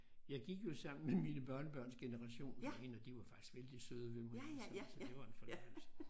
Jeg gik jo sammen med mine børnebørns generation jeg mener de var faktisk vældig søde ved mig så så det var en fornøjelse